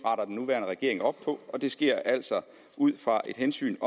nuværende regering op på og det sker altså ud fra et hensyn